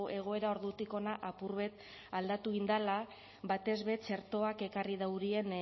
egoera ordutik hona apur bat aldatu egin dela batez be txertoak ekarri daurien